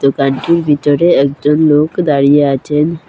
দোকানটির ভিতরে একজন লোক দাঁড়িয়ে আচেন।